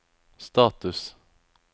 status